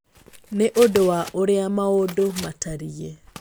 nĩ ũndũ wa ũrĩa maũndũ matariĩ.